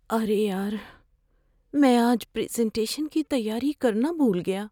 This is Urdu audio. ارے یار! میں آج پریزنٹیشن کی تیاری کرنا بھول گیا۔